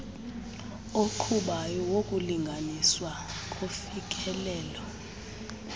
oqhubayo wokulinganiswa kofikelelo